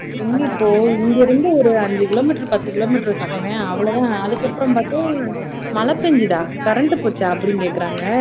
இங்க இப்போ இங்க இருந்து ஒரு அஞ்சு kilometer பத்து kilometer பக்கமே அவ்வளவுதான் அதுக்கப்புறம் மழை பெஞ்சுதா current போச்சா அப்படின்னு கேக்கறாங்க